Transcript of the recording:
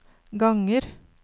ganger